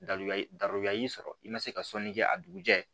y'i sɔrɔ i ma se ka sɔnni kɛ a dugujɛ